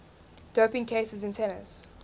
doping cases in tennis